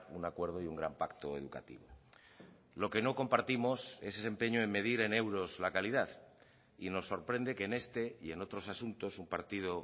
un acuerdo y un gran pacto educativo lo que no compartimos es ese empeño de medir en euros la calidad y nos sorprende que en este y en otros asuntos un partido